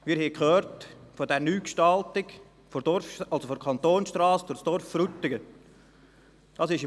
Wir haben von der Neugestaltung der Kantonsstrasse gesprochen, die durch das Dorf Frutigen führt.